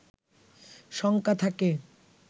শঙ্কা থাকে